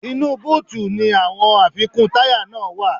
Inú búùtì ni àwọn àfikún táyà náà wá.